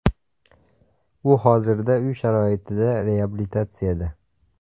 U hozirda uy sharoitida reabilitatsiyada.